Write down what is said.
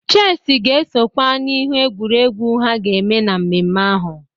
Cheesị ga-esokwe n'ihe egwuregwu ha ga-eme na mmemme ahụ.